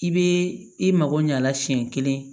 I bɛ i mako ɲɛ a la siɲɛ kelen